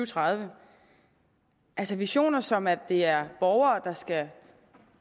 tredive altså visioner som at det er borgere der skal